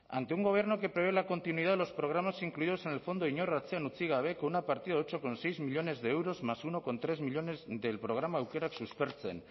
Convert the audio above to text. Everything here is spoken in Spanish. ante un gobierno que prohíbe la continuidad de los programas incluidos en el fondo inor atzean utzi gabe con una partida ocho coma seis millónes de euros más uno coma tres millónes del programa aukerak suspertzen